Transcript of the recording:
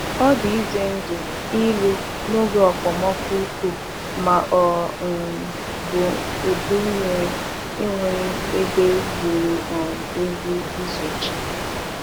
Ọ dị ize ndụ ịlụ n’oge okpomọkụ ukwuu ma ọ um bụ udu nmiri enweghị ebe ziri um ezi izochi.